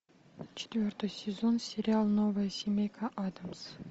четвертый сезон сериал новая семейка адамс